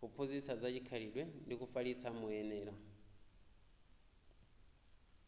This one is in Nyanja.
kuphunzitsa za chikhalidwe ndi kufalitsa moyenera